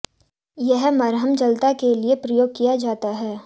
यह मरहम जलता के लिए प्रयोग किया जाता है